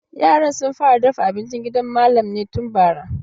Yaran sun fara dafa abincin gidan malam ne tun bara.